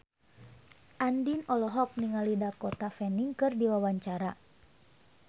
Andien olohok ningali Dakota Fanning keur diwawancara